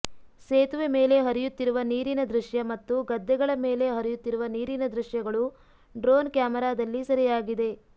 ಸೇತುವೆ ಮೇಲೆ ಹರಿಯುತ್ತಿರುವ ನೀರಿನ ದೃಶ್ಯ ಮತ್ತು ಗದ್ದೆಗಳ ಮೇಲೆ ಹರಿಯುತ್ತಿರುವ ನೀರಿನ ದೃಶ್ಯಗಳು ಡ್ರೋನ್ ಕ್ಯಾಮೆರಾದಲ್ಲಿ ಸೆರೆಯಾಗಿದೆ